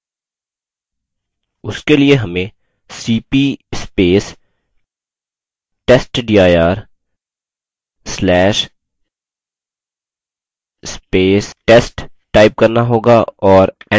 उसके लिए हमें cp testdir/test type करना होगा और enter दबाना होगा